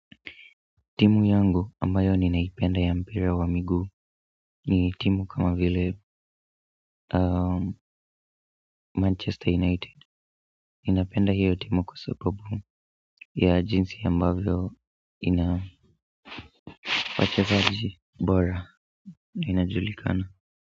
Timu yangu ambayo ninaipenda ya mpira wa miguu ni timu kama vile Manchester United. Ninapenda hiyo timu kwa sababu ya jinsi ambavyo ina wachezaji bora na inajulikana.